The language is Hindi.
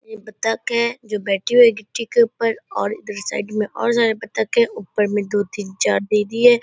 ये बत्तख है जो बैठी हुई है गिट्टी के ऊपर और इधर साइड में और सारे बत्तख हैं। ऊपर में दो तीन चार दीदी है।